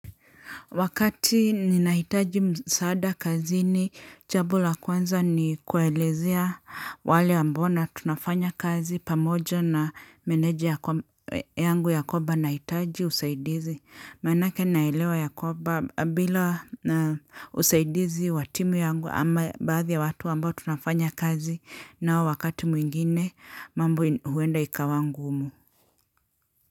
Wakati ninahitaji msaada kazini jambo la kwanza ni kuelezea wale ambao na tunafanya kazi pamoja na meneja yangu ya kwaba nahitaji usaidizi. Maanaka naelewa ya kwba bila usaidizi wa timu yangu ama baadhi ya watu ambao tunafanya kazi nao wakati mwingine mambo huenda ikawa ngumu.